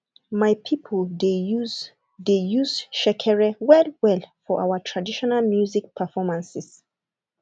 my people dey use dey use shekere well well for our traditional music performances